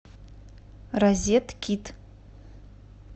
розеткид